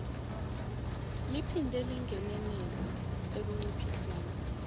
liphinde lingenelele ekunciphiseni